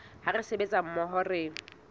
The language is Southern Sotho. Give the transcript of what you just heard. ha re sebetsa mmoho re